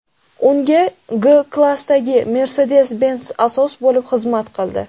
Unga G-klassdagi Mercedes-Benz asos bo‘lib xizmat qildi.